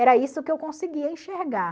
Era isso que eu conseguia enxergar.